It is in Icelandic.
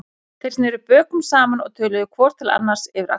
Þeir sneru bökum saman og töluðu hvor til annars yfir axlir sér.